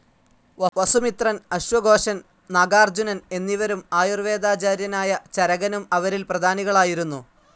വസു മിത്രൻ, അശ്വ ഘോഷൻ, നാഗാർജുനൻ എന്നിവരും ആയുർ വേദാജാര്യനായ ചരകനും അവരിൽ പ്രധാനികളായിരുന്നു.